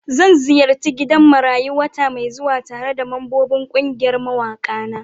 Zan ziyarci gidan marayu wata mai zuwa tare da mambobin kungiyar mawaka na.